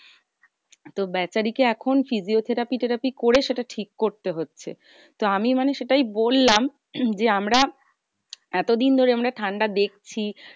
তো বেচারি কে এখন physiotherapy তেরাপি করে সেটা ঠিক করতে হচ্ছে। তো আমি মানে সেটাই বললাম যে, আমরা এতদিন ধরে আমরা ঠান্ডা দেখছি